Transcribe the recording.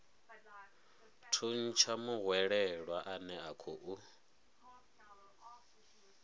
thuntsha muhwelelwa ane a khou